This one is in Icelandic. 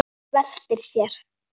Veltir sér.